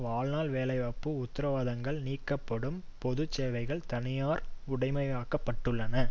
வாழ்நாள் வேலைவாய்ப்பு உத்திரவாதங்கள் நீக்கப்பட்டும் பொதுச்சேவைகள் தனியார் உடைமையாக்கப்பட்டுள்ளன